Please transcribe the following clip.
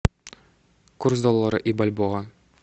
курс доллара и бальбоа